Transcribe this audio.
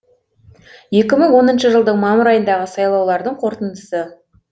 екі мың оныншы жылдың мамыр айындағы сайлаулардың қорытындысы